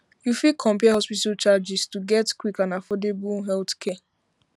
you fit compare hospital charges to to get quick and affordable healthcare